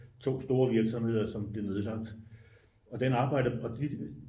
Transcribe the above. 2 store virksomheder som blev nedlagt og de